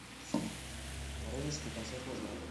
воронежский концертный зал